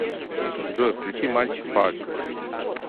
джой включи мальчик парти